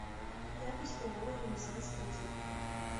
запись ооо ренессанс кредит